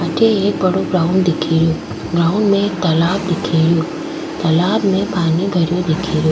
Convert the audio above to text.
अठे एक बड़ो ग्राउंड दिखे रियो ग्राउंड में एक तालाब दिखे रियो तालाब में पानी भरो दिखे रियो।